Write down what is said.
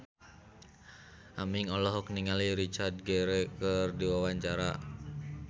Aming olohok ningali Richard Gere keur diwawancara